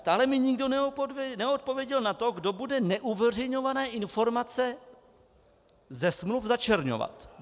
Stále mi nikdo neodpověděl na to, kdo bude neuveřejňované informace ze smluv začerňovat.